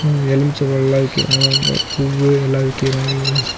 இது எலுமிச்சபலோலா விக்குறாங்க அங்க பூவு எல்லா விக்கிறாங்க.